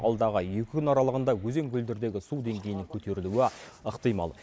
алдағы екі күн аралығында өзен көлдердегі су деңгейінің көтерілуі ықтимал